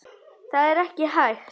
Það er ekki hægt